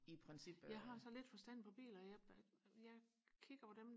jeg har så lidt forstand på biler jeg jeg kigger på dem